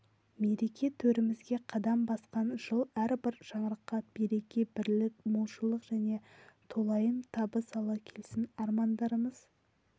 мереке төрімізге қадам басқан жыл әрбір шаңыраққа береке-бірлік молшылық және толайым табыс ала келсін армандарымыз